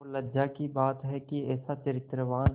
और लज्जा की बात है कि ऐसा चरित्रवान